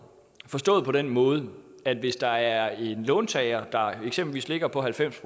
forstået på den måde at hvis der er en låntager der eksempelvis ligger på halvfems